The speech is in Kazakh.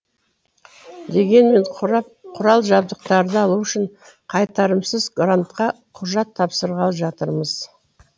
дегенмен құрал жабдықтарды алу үшін қайтарымсыз грантқа құжат тапсырғалы жатырмыз